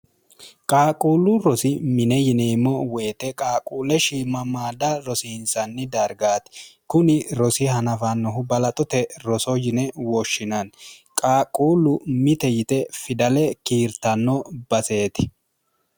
qaaquullu rosi mine yineemmo woyite qaaquulle shiimamaada rosiinsanni dargaati kuni rosi hanafannohu balaxote roso yine woshshinanni qaaqquullu mite yite fidale kiirtanno baseeti